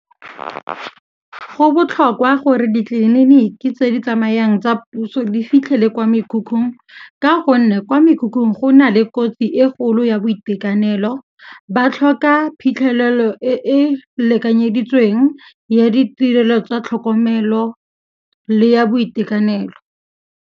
Go botlhokwa gore ditleliniki tse di tsamayang tsa puso di fitlhele kwa mekhukhung ka gonne kwa mekhukhung go na le kotsi e kgolo ya boitekanelo, ba tlhoka phitlhelelo e e lekanyeditsweng ya ditirelo tsa tlhokomelo le ya boitekanelo.